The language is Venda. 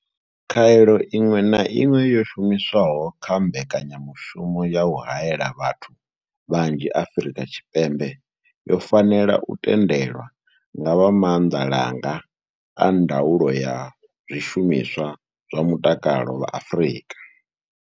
Khaelo iṅwe na iṅwe yo shumiswaho kha mbekanyamushumo ya u haela vhathu vhanzhi Afrika Tshipembe yo fanela u tendelwa nga vha maanḓalanga a ndaulo ya zwishumiswa zwa mutakalo vha Afrika.